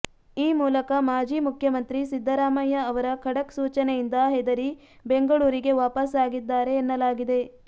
ಈ ಮೂಲಕ ಮಾಜಿ ಮುಖ್ಯಮಂತ್ರಿ ಸಿದ್ದರಾಮಯ್ಯ ಅವರ ಖಡಕ್ ಸೂಚನೆಯಿಂದ ಹೆದರಿ ಬೆಂಗಳೂರಿಗೆ ವಾಪಸ್ಸಾಗಿದ್ದಾರೆ ಎನ್ನಲಾಗಿದೆ